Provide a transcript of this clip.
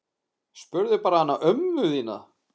Spurðu bara hana ömmu þína!